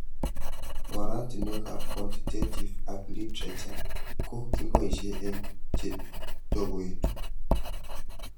Oratinwek ab quantitative ak literature ko kipoishe eng' chetokoitu